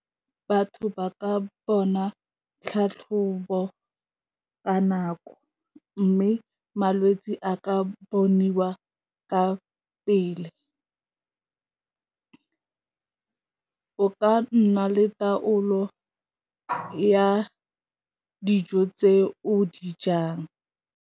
Batho ba ka bona tlhatlhobo ka nako mme malwetse a ka boniwa ka pele, o ka nna le taolo ya dijo tse o di jang.